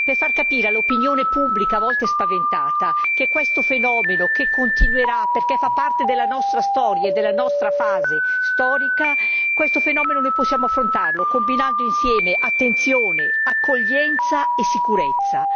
per far capire all'opinione pubblica a volte spaventata che questo fenomeno continuerà perché fa parte della nostra storia e della nostra fase storica, questo fenomeno noi possiamo affrontarlo combinando insieme attenzione, accoglienza e sicurezza.